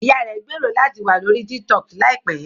Ìyá rẹ̀ ń gbèrò láti wà lórí TikTok láìpẹ́